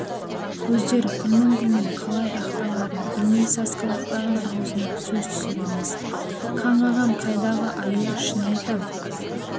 көздер күлмің-күлмің қалай ақталарын білмей сасқалақтаған аузына сөз түсер емес қаңғыған қайдағы аю шын айтам